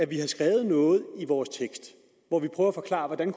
vi har skrevet noget i vores tekst hvor vi prøver at forklare hvordan